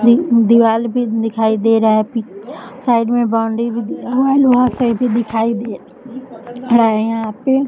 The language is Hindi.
दीवाल भी दिखाई दे रहा है पि साइड में बॉउंड्री भी दिखाई दे रही है यहाँ पे --